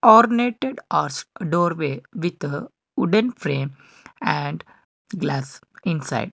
ornated doorway with wooden frame and glass inside.